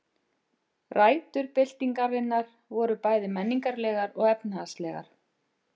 Rætur byltingarinnar voru bæði menningarlegar og efnahagslegar.